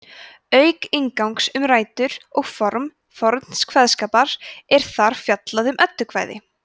auk inngangs um rætur og form forns kveðskapar er þar fjallað um eddukvæði